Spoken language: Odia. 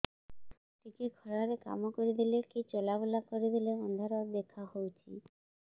ଟିକେ ଖରା ରେ କାମ କରିଦେଲେ କି ଚଲବୁଲା କରିଦେଲେ ଅନ୍ଧାର ଦେଖା ହଉଚି